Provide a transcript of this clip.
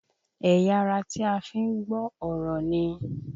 Ẹ̀yà ara tí a fi ń gbọ́ ọ̀rọ̀ ni?